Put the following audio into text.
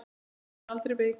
Hér er hún aldrei veik.